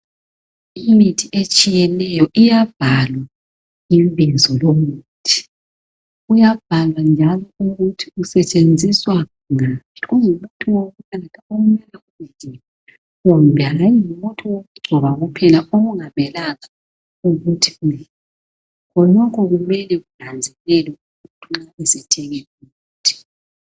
Imithi etshiyeneyo iyabhalwa ibizo lomuthi. Kuyabhalwa njalo ukuthi usetshenziswa ngaphi ungumuthi wokunatha kumbe ungaba ungumuthi wokugcoba kuphela okungamelanga ukuthi udliwe. Khonokho kumele kunanzelelwe umuntu nxa esiyathenga umuthi.